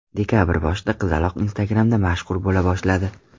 Dekabr boshida qizaloq Instagram’da mashhur bo‘la boshladi.